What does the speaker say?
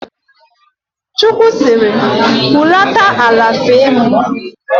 Chukwu sịrị, hulata ala fee mụ!